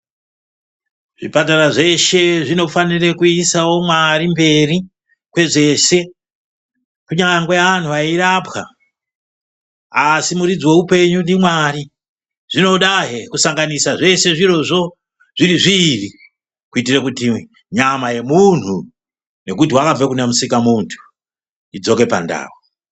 Zvipatara zveshe, zvinofanirawo kuise Mwari mberi kwezvese. Kunyangwe antu eirapwa, asi muridzi weupenyu ndiMwari. Zvinodahe kusanganisa zvese zvirozvo zviri zviiri kuitire kuti nyama yemuntu, ngekuti wakabve kunaMusikamuntu, kuti idzoke pandau.